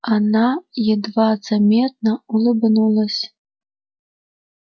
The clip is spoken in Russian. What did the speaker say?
она едва заметно улыбнулась